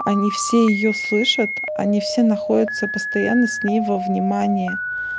они все её слышат они все находятся постоянно с ней во внимание